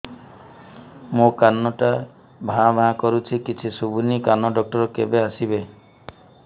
ମୋ କାନ ଟା ଭାଁ ଭାଁ କରୁଛି କିଛି ଶୁଭୁନି କାନ ଡକ୍ଟର କେବେ ଆସିବେ